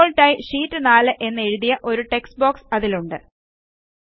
default ആയി sheet 4 എന്നെഴുതിയ ഒരു ടെക്സ്റ്റ്ബോക്സ് അതിലുണ്ട്